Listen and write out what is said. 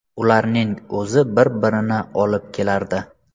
Ularning o‘zi bir-birini olib kelardi.